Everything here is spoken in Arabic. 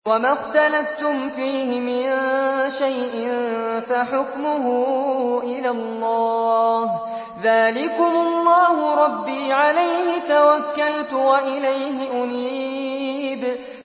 وَمَا اخْتَلَفْتُمْ فِيهِ مِن شَيْءٍ فَحُكْمُهُ إِلَى اللَّهِ ۚ ذَٰلِكُمُ اللَّهُ رَبِّي عَلَيْهِ تَوَكَّلْتُ وَإِلَيْهِ أُنِيبُ